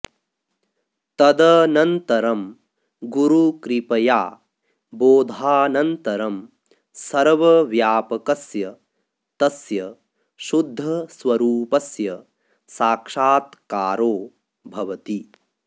तदनन्तरं गुरुकृपया बोधानन्तरं सर्वव्यापकस्य तस्य शुद्धस्वरूपस्य साक्षात्कारो भवति